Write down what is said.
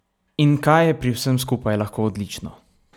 In kaj je pri vsem skupaj lahko odlično?